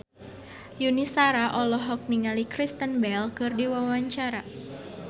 Yuni Shara olohok ningali Kristen Bell keur diwawancara